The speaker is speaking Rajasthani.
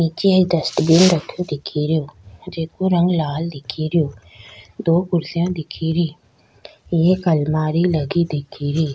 नीच एक डस्टबिन रखो दिखेरो जेको रंग लाल दिखेरो दो कुर्सियां दिख रि एक अलमारी लगी दिख री।